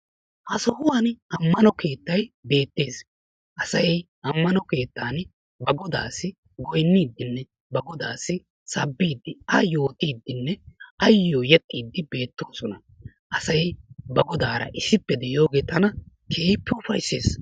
Ha sohuwani ammano keettayi beettes. Asayi ammano keettaani ba godaassi goyinniiddinne ba godaassi sabbiiddi ayyo diiddinne ayyo yexxiiddi beettoosona. Asayi ba godaara issippe.de7iyooge tana keehippe ufayisses.